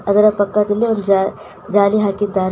ಅದರ ಪಕ್ಕದಲ್ಲಿ ಒಂದು ಜಾ ಜಾಲಿ ಹಾಕಿದ್ದಾರೆ.